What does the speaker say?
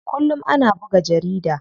Kullum ana buga jarida.